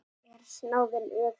Er snáðinn öfugur?